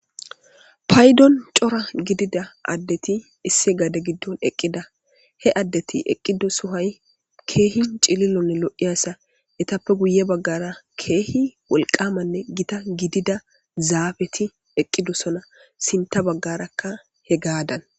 Paydon cora gidida addeti isse gade giddon eqqida he addeti eqqido suhay keehin cililonne lo'iyasa etappe guye baggara keehi wolqamanne gita gidida zaabeti eqqidosona sinta baggarakka he gaadan